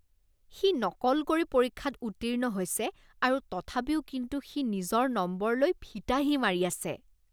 সি নকল কৰি পৰীক্ষাত উত্তীৰ্ণ হৈছে আৰু তথাপিও কিন্তু সি নিজৰ নম্বৰলৈ ফিতাহি মাৰি আছে।